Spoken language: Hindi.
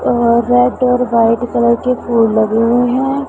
और रेड और व्हाइट कलर के फूल लगे हुए हैं।